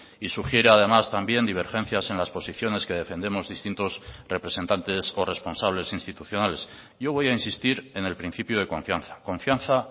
y sugiere además también divergencias en las posiciones que defendemos distintos representantes o responsables institucionales yo voy a insistir en el principio de confianza confianza